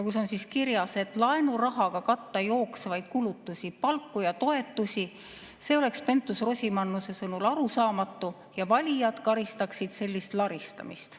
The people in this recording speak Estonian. Seal on kirjas, et oleks arusaamatu laenurahaga katta jooksvaid kulutusi, palku ja toetusi, ja Pentus-Rosimannuse sõnul valijad karistaksid sellist laristamist.